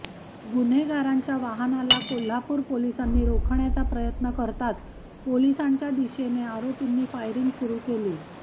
गुन्हेगारांच्या वाहनाला कोल्हापूर पोलिसांनी रोखण्याचा प्रयत्न करताच पोलिसांच्या दिशेने आरोपींनी फायरिंग सुरू केला